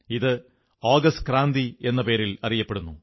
ഇതു ആഗസ്റ്റ് ക്രാന്തി എന്ന പേരിൽ അറിയപ്പെടുന്നു